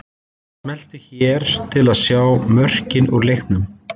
Smellu hér til að sjá mörkin úr leiknum